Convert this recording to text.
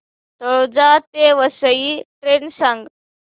तळोजा ते वसई ट्रेन सांग